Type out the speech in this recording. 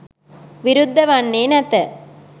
විරුද්ධ වන්නේ නැත